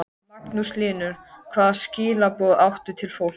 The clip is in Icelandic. Magnús Hlynur: Hvaða skilaboð áttu til fólks?